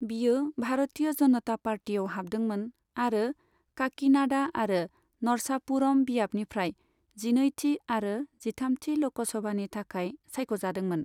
बियो भारतीय जनता पार्टीआव हाबदोंमोन आरो काकिनाडा आरो नरसापुरम बियाबनिफ्राय जिनैथि आरो जिथामथि लकसभानि थाखाय सायख'जादोंमोन।